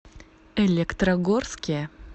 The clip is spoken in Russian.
электрогорске